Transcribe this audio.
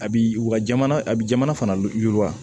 A bi u ka jamana abijamana fana yiriwa